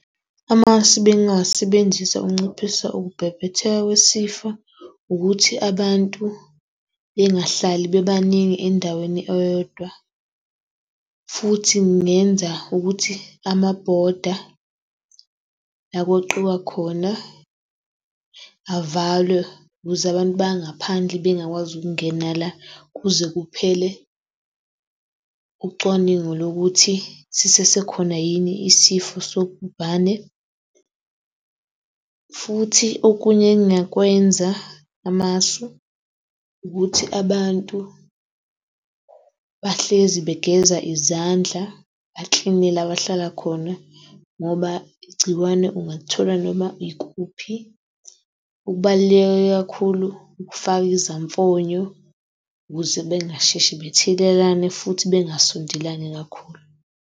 Amasu ebengingawasebenzisa ukunciphisa ukubhebhetheka kwesifo ukuthi abantu bengahlali bebaningi endaweni eyodwa, futhi ngingenza ukuthi amabhoda la okweqiwa khona avalwe ukuze abantu bangaphandle bengakwazi ukungena la kuze kuphele ucwaningo lokuthi sisesekhona yini isifo sobhubane. Futhi okunye engingakwenza amasu ukuthi abantu bahlezi begeza izandla ba-clean-e la bahlala khona, ngoba igciwane ungalithola noma ikuphi. Okubaluleke kakhulu ukufaka izamfonyo ukuze bengasheshi bethelelane futhi bengasondelani kakhulu.